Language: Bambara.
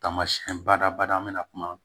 Taamasiyɛn badabada an bɛna kuma